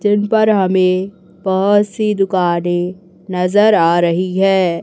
जिन पर हमें बहोत सी दुकानें नजर आ रही है।